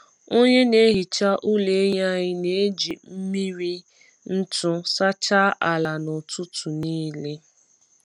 Onye na-ehicha ụlọ ehi anyị na-eji mmiri na-eji mmiri ntu sachaa ala na ụtụtụ nile.